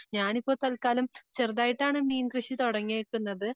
ഞാനിപ്പം തൽക്കാലം ചെറുതായി ട്ടാണ് മീൻ കൃഷി തുടങ്ങിയേക്കുന്നത്.